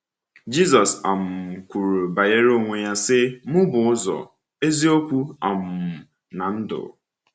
Jízọ́s um kwuru banyere onwe ya, sị: “Mụ bụ ụzọ, eziokwu um na ndụ.”